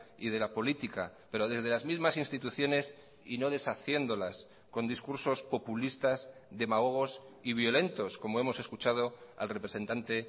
y de la política pero desde las mismas instituciones y no deshaciéndolas con discursos populistas demagogos y violentos como hemos escuchado al representante